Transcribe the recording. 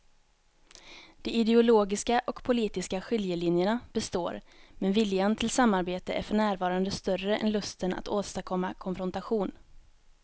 De ideologiska och politiska skiljelinjerna består men viljan till samarbete är för närvarande större än lusten att åstadkomma konfrontation.